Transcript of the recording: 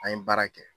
An ye baara kɛ